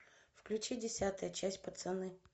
включи десятая часть пацаны